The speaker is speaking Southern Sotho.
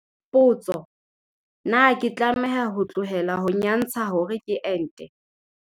Potso- Na ke tlameha ho tlohela ho nyantsha hore ke ente?